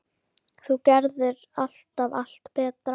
Þú gerðir alltaf allt betra.